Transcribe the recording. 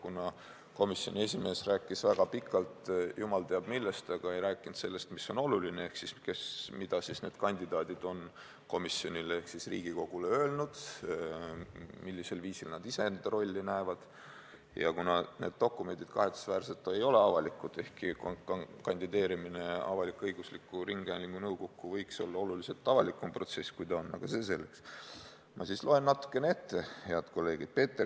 Kuna komisjoni esimees rääkis väga pikalt jumal teab millest, aga ei rääkinud sellest, mis on oluline, ehk sellest, mida need kandidaadid on komisjonile ehk Riigikogule öelnud, millisel viisil nad iseenda rolli näevad, ja kuna kahetsusväärselt need dokumendid ei ole avalikud – ehkki kandideerimine avalik-õigusliku ringhäälingu nõukokku võiks olla oluliselt avalikum protsess, kui ta on, aga see selleks –, siis ma loen teile, head kolleegid, natukene ette.